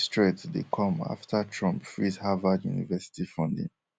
dis threat dey come afta trump freeze harvard university funding